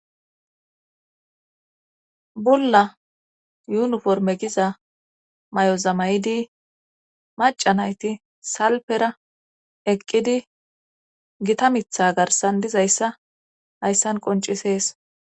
bulla yuniforme giza mayoza maydi maca nayti salpera eqqidi gitta mitha garsan dizayssa hayssan qoncisees.